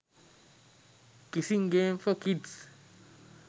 kissing games for kids